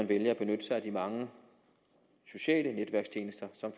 vælger at benytte sig af de mange sociale netværkstjenester som